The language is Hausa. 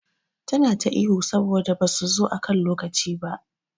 Tana ta ihu saboda basu zo akan lokaci ba.